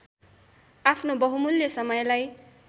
आफ्नो बहुमूल्य समयलाई